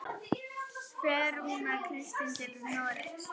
Fer Rúnar Kristins til Noregs?